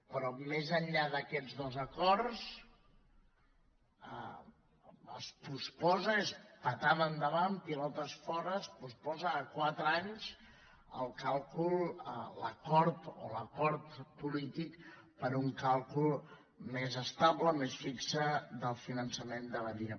però més enllà d’aquests dos acords es posposa és puntada endavant pilotes fora a quatre anys el càlcul o l’acord polític per a un càlcul més estable més fix del finançament de badia